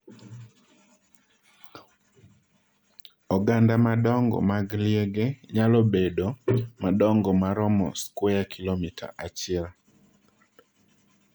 Oganda madongo mag liege nyalo bedo madongo maromo skweya kilomita achiel.